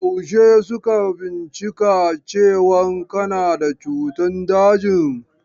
Yaushe suka bincika cewan kana da cutan dajin?